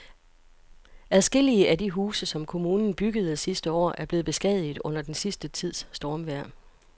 Adskillige af de huse, som kommunen byggede sidste år, er blevet beskadiget under den sidste tids stormvejr.